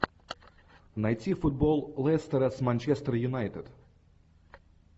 найти футбол лестера с манчестер юнайтед